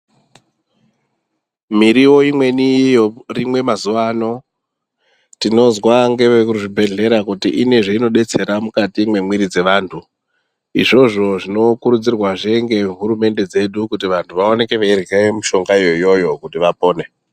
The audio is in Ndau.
Miriwo imweni yorimwa mazuwaano, tinozwa ngevekuzvibhedhlera kuti ine zvinodetsera mukati mwemwiri dzevanthu. Izvozvo zvinokurudzirwazve ngehurumende dzedu kuti vantu vaoneke veirye mishongayo iyoyo kuti vapone.